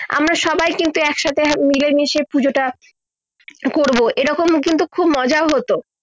আমরা সবাই কিন্তু একসাথে মিলে মিশে পুজোট করব এই রকম কিন্তু খুব মজা হত